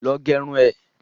Lọ gerun ẹ!